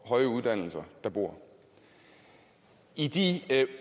og høje uddannelser der bor i de